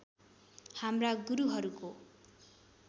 हाम्रा गुरुहरूको